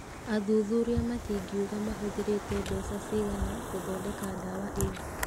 Athuthuria matingiuga mahũthĩrĩte mbeca cigana gũthondeka ndawa ĩyo.